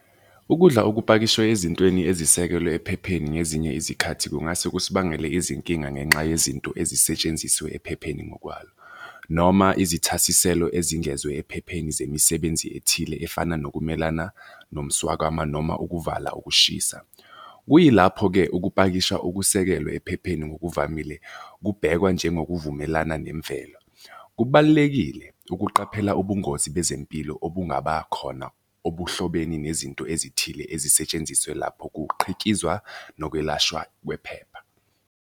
Ukudla okupakishwe ezintweni ezisekelwe ephepheni ngezinye izikhathi kungase kusibangele izinkinga ngenxa yezinto ezisetshenzisiwe ephepheni ngokwalo, noma izithasiselo ezingezwe ephepheni zemisebenzi ethile efana nokumelana nomswakama noma ukuvala ukushisa. Kuyilapho-ke ukupakisha okusekelwe ephepheni ngokuvamile kubhekwa njengokuvumelana nemvelo. Kubalulekile ukuqaphela ubungozi bezempilo obungabakhona obuhlobene nezinto ezithile ezisetshenzisiwe lapho kuqhikizwa nokwelashwa kwephepha.